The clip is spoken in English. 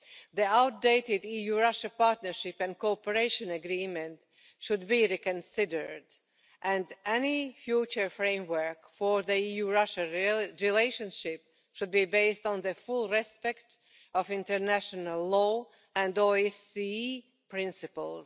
The outdated EU Russia Partnership and Cooperation Agreement should be reconsidered and any future framework for the EU Russia relationship should be based on the full observance of international law and OSCE principles.